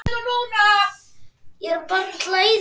skipaði Ási.